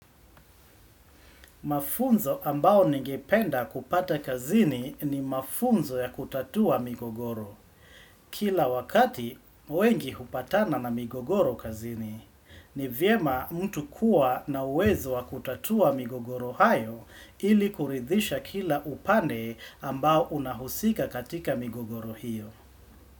Mafunzo ambao ningependa kupata kazini ni mafunzo ya kutatua migogoro. Kila wakati wengi hupatana na migogoro kazini, ni vyema mtu kuwa na uwezo wa kutatua migogoro hayo ili kuridhisha kila upande ambao unahusika katika migogoro hiyo.